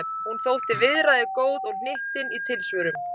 Hún þótti viðræðugóð og hnyttin í tilsvörum.